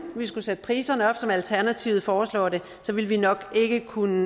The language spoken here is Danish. vi skal sætte priserne op som alternativet foreslår det så vil vi nok ikke kunne